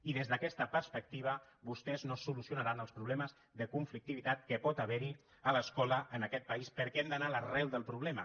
i des d’aquesta perspectiva vostès no solucionaran els problemes de conflictivitat que pot haver hi a l’escola en aquest país perquè hem d’anar a l’arrel del problema